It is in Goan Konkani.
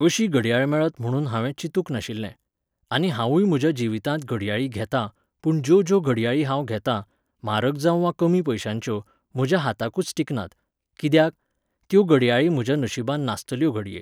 अशी घडयाळ मेळत म्हणुन हांवें चितूंक नाशिल्लें. आनी हांवूय म्हज्या जिवितांत घडयाळी घेतां, पूण ज्यो ज्यो घडयाळी हांव घेतां, म्हारग जांव वा कमी पयश्यांच्यो, म्हज्या हाताकूच टिकनात. कित्याक? त्यो घडयाळी म्हज्या नशिबान नासतल्यो घडये.